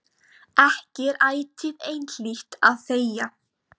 Ekki er ætíð einhlítt að þegja.